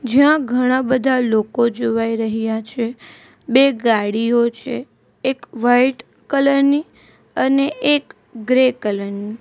જ્યાં ઘણા બધા લોકો જોવાઈ રહ્યા છે બે ગાડીઓ છે એક વાઈટ કલર ની અને એક ગ્રે કલર ની.